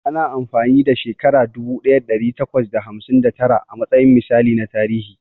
Ana amfani ɗa shekara dubu ɗaya ɗari takwas da hamsin da tara a matsayin misali na tarihi.